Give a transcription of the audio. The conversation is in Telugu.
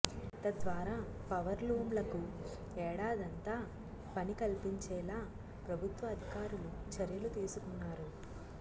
తద్వారా పవర్లూమ్లకు ఏడాదంతా పని కల్పించేలా ప్రభుత్వ అధికారులు చర్యలు తీసుకున్నారు